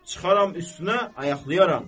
Çıxaram üstünə, ayaqlayaram.